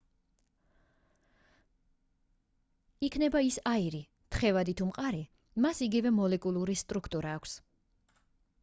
იქნება ის აირი თხევადი თუ მყარი მას იგივე მოლეკულური სტრუქტურა აქვს